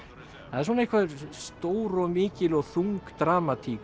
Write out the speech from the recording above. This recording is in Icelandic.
það er svona einhver stór og mikil og þung dramatík